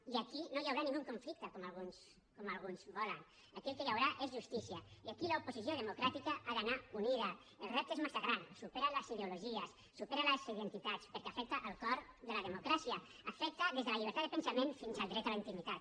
i aquí no hi haurà cap conflicte com alguns volen aquí el que hi haurà és justícia i aquí l’oposició democràtica ha d’anar unida el repte és massa gran supera les ideologies supera les identitats perquè afecta el cor de la democràcia afecta des de la llibertat de pensament fins al dret a la intimitat